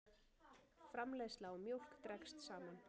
Framleiðsla á mjólk dregst saman